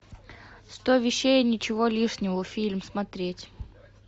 сто вещей и ничего лишнего фильм смотреть